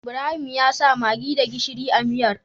Ibrahim yasa maggi da gishiri a miyar